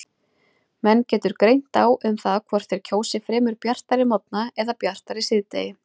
Menn getur greint á um það hvort þeir kjósi fremur bjartari morgna eða bjartara síðdegi.